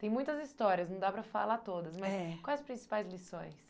Tem muitas histórias, não dá para falar todas, é, mas quais as principais lições?